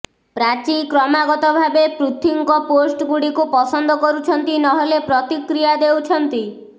ପ୍ରାଚୀ କ୍ରମାଗତ ଭାବେ ପୃଥ୍ୱୀଙ୍କ ପୋଷ୍ଟ ଗୁଡ଼ିକୁ ପସନ୍ଦ କରୁଛନ୍ତି ନହେଲେ ପ୍ରତିକ୍ରିୟା ଦେଉଛନ୍ତି